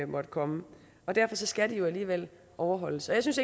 måtte komme derfor skal de jo alligevel overholdes og jeg synes